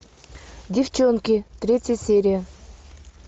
девчонки третья серия